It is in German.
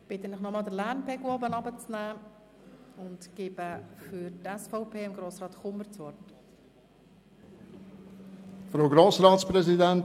Ich bitte Sie nochmals, den Lärmpegel herunterzuschrauben und gebe das Wort Grossrat Kummer für die SVP-Fraktion.